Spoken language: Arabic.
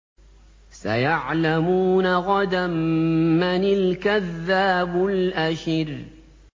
سَيَعْلَمُونَ غَدًا مَّنِ الْكَذَّابُ الْأَشِرُ